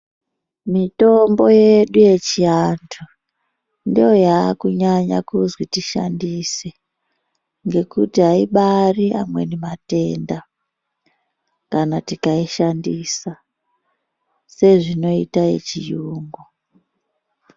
Mitombo yedu yechiantu ndoyakunyanya kuzwi tishandise ngekuti aibari amweni matenda kana tikaishandisa sezvinoita yechiyungu.